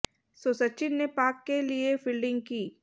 सो सचिन ने पाक के लिए फील्डिंग की